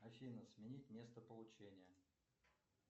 афина сменить место получения